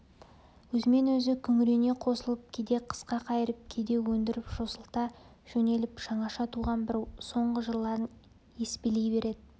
өзімен өзі күңірене қосылып кейде қысқа қайырып кейде өндіріп жосылта жөнеліп жаңаша туған бір соңғы жырларын еспелей береді